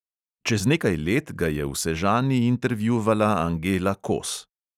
Čez nekaj let ga je v sežani intervjuvala angela kos.